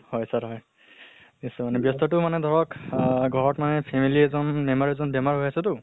হয় sir হয়। ব্য়স্ত মানে ব্য়স্তটো মানে ধৰক আহ ঘৰত মানে family এজন member এজন বেমাৰ হৈ আছে তো